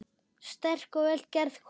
Sterk og vel gerð kona.